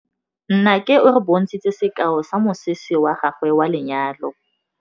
Nnake o re bontshitse sekaô sa mosese wa gagwe wa lenyalo.